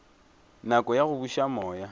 nako ya go buša moya